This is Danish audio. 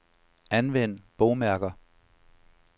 Anvend bogmærker.